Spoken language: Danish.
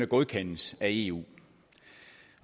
godkendes af eu